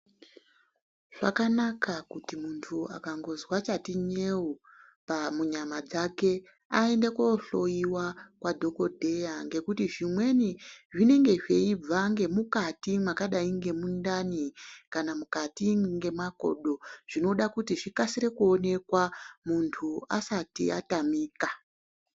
Vakqnaka kuti muntu akangozwa chati nyeu pa munyama dzake aende kohloyiwa kwadhokodheya ngekuti zvimweni zvinenga zveibva ngemukati mwakadai ngemundani kana mukati ngemakodo Zvinoda kuti zVikasire kuoneka muntu asati atamika.